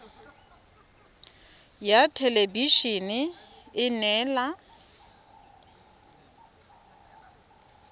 ya thelebi ene e neela